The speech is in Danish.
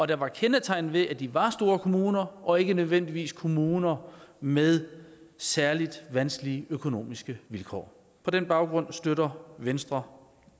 der var kendetegnet ved at de var store kommuner og ikke nødvendigvis kommuner med særlig vanskelige økonomiske vilkår på den baggrund støtter venstre